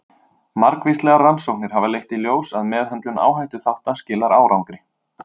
Margvíslegar rannsóknir hafa leitt í ljós að meðhöndlun áhættuþátta skilar árangri.